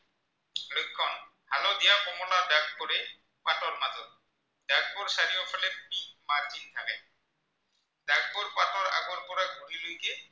লৈকে